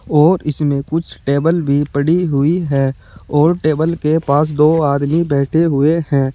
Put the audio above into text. और इसमें कुछ टेबल भी पड़ी हुई है और टेबल के पास दो आदमी बैठे हुए हैं।